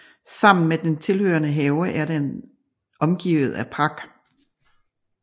Sammen med den tilhørende have er den omgivet af park